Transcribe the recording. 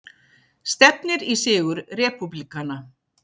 Stefnir í sigur repúblikana